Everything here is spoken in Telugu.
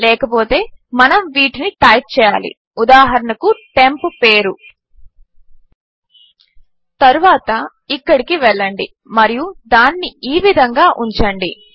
లేకపోతే మనము వీటిని టైప్ చేయాలి ఉదాహరణకు టెంప్ పేరు తరువాత ఇక్కడికి వెళ్ళండి మరియు దానిని ఈ విధంగా ఉంచండి